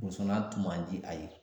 tun man di a ye.